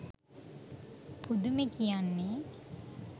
පුදුමේ කියන්නේ,